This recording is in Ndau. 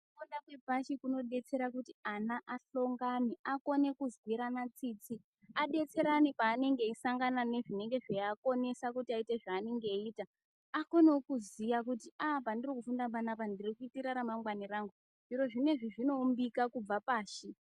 Chikora chepashi, chinodetsera kuti ana asongane, akone kunzwirana tsitsi ,adetserana paanenenge eyisangana nezvinenge zviakonesa kuti aite zvaanenge eyita, akonewo kuziya kuti aah pandirikufunda panapa ndirikuitira ramangwane rangu ,zviri zvino izvi zvinoumbika kubva pasi